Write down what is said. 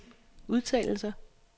udtalelser